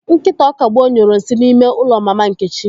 Nkịta Ọkagbue nyuru nsị n'ime ụlọ Mama Nkechi.